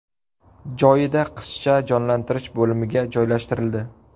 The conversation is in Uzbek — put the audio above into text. Joyida qizcha jonlantirish bo‘limiga joylashtirildi.